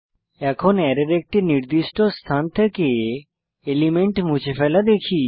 এখন অ্যারের একটি নির্দিষ্ট স্থান থেকে এলিমেন্ট মুছে ফেলা দেখি